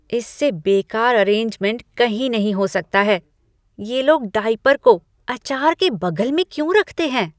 इससे बेकार अरेंजमेंट कहीं नहीं हो सकता है। ये लोग डायपर को अचार के बगल में क्यों रखते हैं?